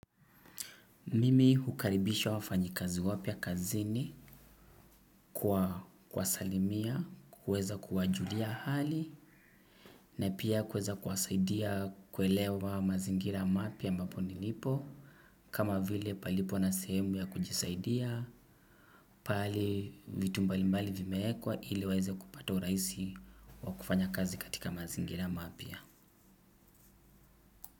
Mimi hukaribisha wafanyi kazi wapya kazini kwa kuwasalimia kuweza kuwa julia hali na pia kuweza kuwasaidia kuelewa mazingira mapya ambapo nilipo. Kama vile palipo na sehemu ya kujisaidia. Pahali vitu mbalimbali vimeekwa ili waweze kupata urahisi wakufanya kazi katika mazingira mapya.